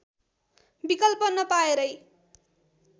विकल्प नपाएरै